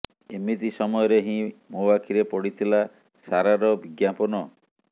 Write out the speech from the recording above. ଏମିତି ସମୟରେ ହିଁ ମୋ ଆଖିରେ ପଡ଼ିଥିଲା ସାରାର ବିଜ୍ଞାପନ